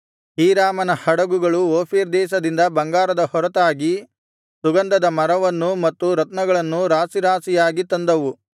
ಹೀರಾಮನ ಹಡಗುಗಳು ಓಫೀರ್ ದೇಶದಿಂದ ಬಂಗಾರದ ಹೊರತಾಗಿ ಸುಗಂಧದ ಮರವನ್ನೂ ಮತ್ತು ರತ್ನಗಳನ್ನೂ ರಾಶಿ ರಾಶಿಯಾಗಿ ತಂದವು